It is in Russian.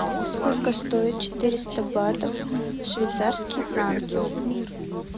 сколько стоит четыреста батов в швейцарские франки